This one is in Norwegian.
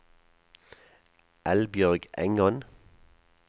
Eldbjørg Engan